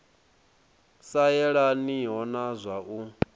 sa yelaniho na wa u